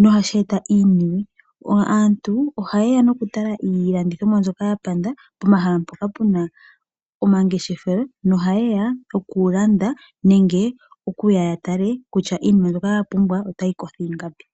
nohashi eta iisimpo. Aantu ohaye ya nokutala iilandithonwa pomahala mpoka puna omangeshefelo noha ye ya okulanda . Nenge okuya yatale kitya iinima mbyoka yapumbwa otayi kotho ingapi.